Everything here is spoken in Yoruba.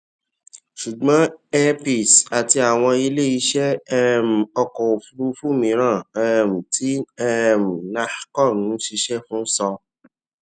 ṣùgbọn air peace àti àwọn ilé iṣẹ um ọkọ òfuurufú mìíràn um tí um nahco ń ṣiṣẹ fún sọ